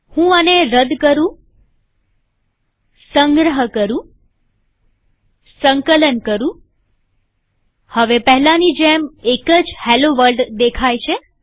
હું આને રદ કરુંસંગ્રહ કરુંસંકલન કરુંહવે પહેલાની જેમ એક જ હેલ્લો વર્લ્ડ દેખાય છે